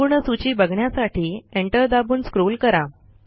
संपूर्ण सूची बघण्यासाठी एंटर दाबून स्क्रॉल करा